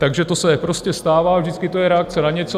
Takže to se prostě stává, vždycky to je reakce na něco.